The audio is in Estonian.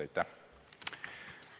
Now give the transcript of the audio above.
Aitäh!